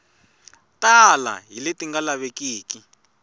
tala hi leti nga lavekeki